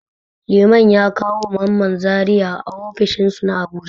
Liman ya kawo ma Mamman ziyara a ofishin su na Abuja.